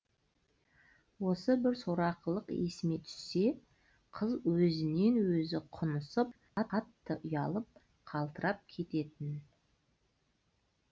осы бір сорақылық есіме түссе қыз өзінен өзі құнысып қатты ұялып қалтырап кететін